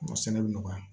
A sɛnɛ bɛ nɔgɔya